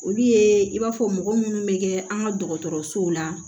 Olu ye i b'a fɔ mɔgɔ munnu bɛ kɛ an ka dɔgɔtɔrɔsow la